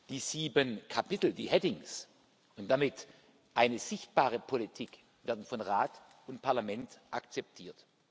Die sieben Kapitel die headings und damit eine sichtbare Politik werden von Rat und Parlament akzeptiert.